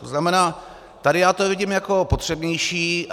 To znamená, tady já to vidím jako potřebnější.